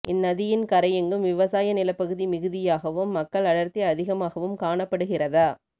இந்நதியின் கரையெங்கும் விவசாய நிலப்பகுதி மிகுதியாகவும் மக்கள் அடர்த்தி அதிகமாகவும் காணப்படுகிறத